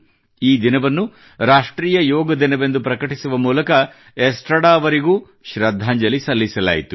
ಈ ದಿನವನ್ನು ರಾಷ್ಟ್ರೀಯ ಯೋಗ ದಿನವೆಂದು ಪ್ರಕಟಿಸುವ ಮೂಲಕ ಎಸ್ಟ್ರಡಾ ಅವರಿಗೂ ಶ್ರದ್ಧಾಂಜಲಿ ಸಲ್ಲಿಸಲಾಯಿತು